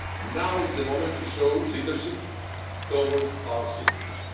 Now is the moment to show leadership towards our citizens.